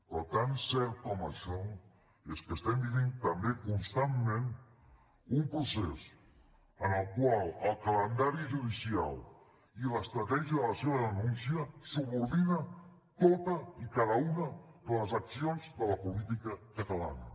però tan cert com això és que estem vivint també constantment un procés en el qual el calendari judicial i l’estratègia de la seva denúncia subordina totes i cada una de les accions de la política catalana